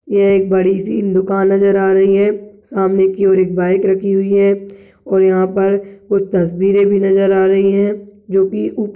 यह एक बड़ी सी दुकान नजर आ रही है सामने की और एक बाइक रखी हुई है और यहाँ पर कुछ तस्वीरे भी नजर आ रही है जो की उप --